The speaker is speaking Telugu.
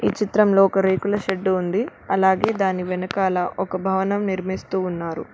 చిత్రంలో ఒక రేకుల షెడ్డు ఉంది అలాగే దాని వెనకాల ఒక భవనం నిర్మిస్తూ ఉన్నారు.